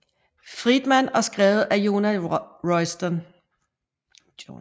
Friedman og skrevet af Jonah Royston